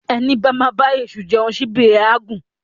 Ẹní bá ma bá èṣù jeun ṣíbí ẹ̀ á gùn